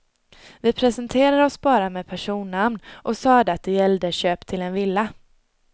Vi presenterade oss bara med personnamn och sade att det gällde köp till en villa.